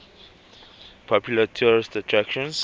popular tourist attractions